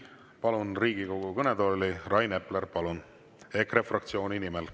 Palun Riigikogu kõnetooli Rain Epleri EKRE fraktsiooni nimel.